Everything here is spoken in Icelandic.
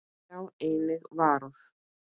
Sjá einnig Varúð.